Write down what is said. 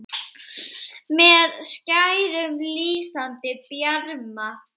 með skærum, lýsandi bjarma